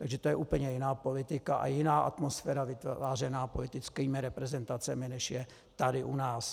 Takže to je úplně jiná politika a jiná atmosféra vytvářená politickými reprezentacemi, než je tady u nás.